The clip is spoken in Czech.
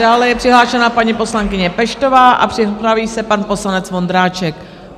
Dále je přihlášena paní poslankyně Peštová a připraví se pan poslanec Vondráček.